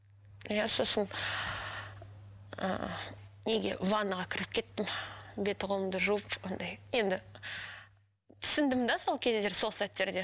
иә сосын ы неге ванныйға кіріп кеттім беті қолымды жуып андай енді түсіндім де сол кездер сол сәттерде